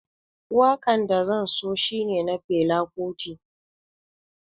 Wakan da zan so shine na Fela Kuti